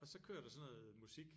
Og så kører der sådan noget musik